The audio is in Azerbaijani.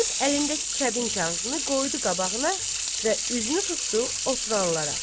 Deyib əlindəki kəbin kağızını qoydu qabağına və üzünü tutdu oturanlara.